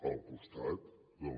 al costat de les